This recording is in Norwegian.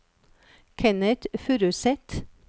Kenneth Furuseth